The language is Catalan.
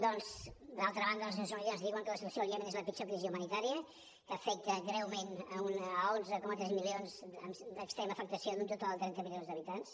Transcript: doncs d’altra banda les nacions unides ens diuen que la situació al iemen és la pitjor crisi humanitària que afecta greument onze coma tres milions d’extrema afectació d’un total de trenta milions d’habitants